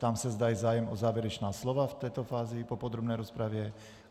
Ptám se, zda je zájem o závěrečná slova v této fázi po podrobné rozpravě.